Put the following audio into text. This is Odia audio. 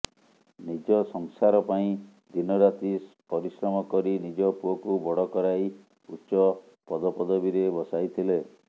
ନିଜ ସଂସାର ପାଇଁ ଦିନରାତି ପରିଶ୍ରମ କରି ନିଜ ପୁଅଙ୍କୁ ବଡ଼ କରାଇ ଉଚ୍ଚ ପଦପଦବୀରେ ବସାଇଥିଲେ